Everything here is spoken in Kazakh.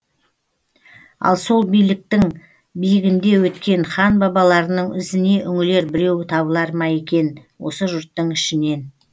ал сол биліктің биігінде өткен хан бабаларының ізіне үңілер біреу табылар ма екен осы жұрттың ішінен